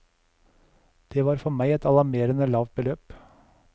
Det var for meg et alarmerende lavt beløp.